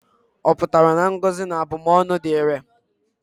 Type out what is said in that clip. Ọ pụtara na ngọzi na abụmọnụ dị irè?